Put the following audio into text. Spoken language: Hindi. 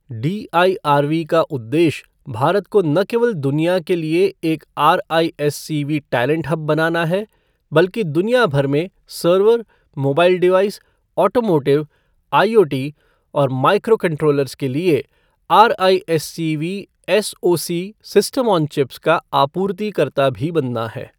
डीआईआरवी का उद्देश्य भारत को न केवल दुनिया के लिए एक आरआईएससीवी टैलेंट हब बनाना है, बल्कि दुनिया भर में server, mobile device, automotive, IoT और माइक्रोकंट्रोलर्स के लिए RISCV SoC system on chips का आपूर्तिकर्ता भी बनना है।